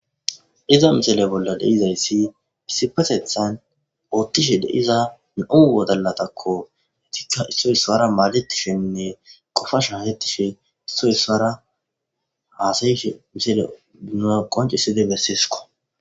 iza misale bolla deizayssi isipatethan oottishe deiza mi7u wodalatakko hetikka issoy isuara maaletishenne qofa shahettishe issoy ssaara haasayishe misale bina qoncisside besseesiko